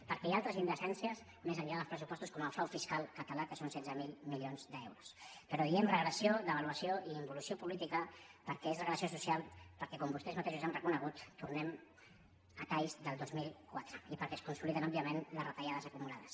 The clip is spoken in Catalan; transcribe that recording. perquè hi ha altres indecències més enllà dels pressupostos com el frau fiscal català que són setze mil milions d’euros però diem regressió devaluació i involució política perquè és regressió social perquè com vostès mateixos han reconegut tornem a talls del dos mil quatre i perquè es consoliden òbviament les retallades acumulades